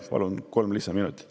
Palun kolm lisaminutit.